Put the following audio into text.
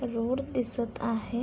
Road दिसत आहे.